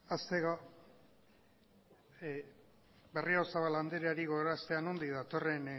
hasteko berriozabal andreari gogoraraztea nondik datorren